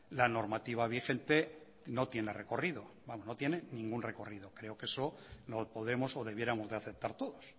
la normativa vigente no tiene recorrido no tiene ningún recorrido creo que no podemos o debiéramos de aceptar todos